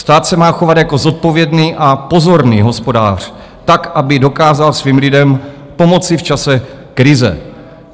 Stát se má chovat jako zodpovědný a pozorný hospodář tak, aby dokázal svým lidem pomoci v čase krize.